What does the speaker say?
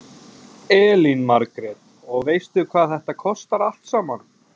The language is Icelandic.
Elín Margrét: Og veistu hvað þetta kostar allt saman?